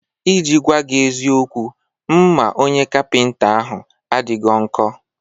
I ji gwaa gị eziokwu, mma onye kapịnta ahụ adịghọ nkọ